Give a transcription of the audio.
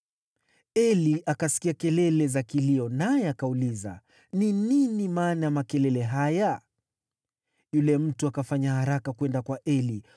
Eli akasikia kelele za kilio, naye akauliza, “Ni nini maana ya makelele haya?” Yule mtu akafanya haraka kwenda kwa Eli,